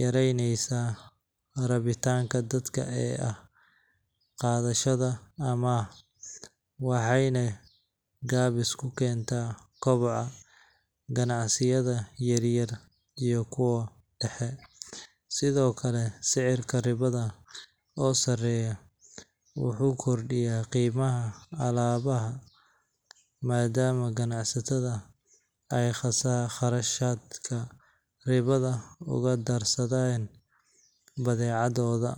yaraynaysaa rabitaanka dadka ee ah qaadashada amaah, waxayna gaabis ku keentaa koboca ganacsiyada yaryar iyo kuwa dhexe. Sidoo kale, sicirka ribada oo sareeya wuxuu kordhiyaa qiimaha alaabada, maadaama ganacsatada ay kharashka ribada uga darsanayaan badeecadooda.